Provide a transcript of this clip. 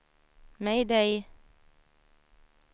mayday